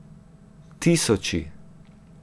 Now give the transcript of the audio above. Tisoči.